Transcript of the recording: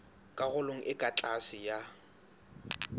karolong e ka tlase ya